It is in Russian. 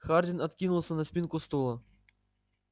хардин откинулся на спинку стула